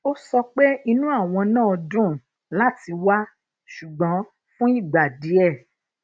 ó sọ pé inú àwọn á dùn láti wá ṣùgbọn fún igba die